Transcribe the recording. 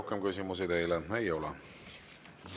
Rohkem küsimusi teile ei ole.